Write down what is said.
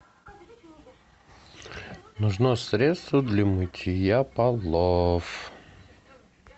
нужно средство для мытья полов